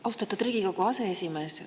Austatud Riigikogu aseesimees!